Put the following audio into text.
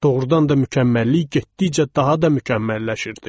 Doğrudan da mükəmməllik getdikcə daha da mükəmməlləşirdi.